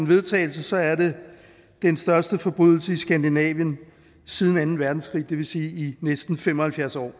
vedtagelse er det den største forbrydelse i skandinavien siden anden verdenskrig det vil sige i næsten fem og halvfjerds år